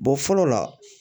fɔlɔ la